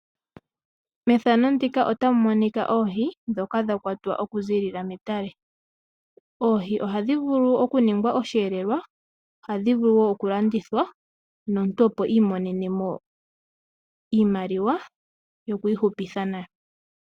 Methano ndika otamu monika oohi dhoka dhakwatwa oku zilila metale, oohi ohadhi vulu oku ningwa oshelelwa , ohadhi vulu oku landithwa nomuntu opo imonenemo iimaliwa yokwi hupitha nayo.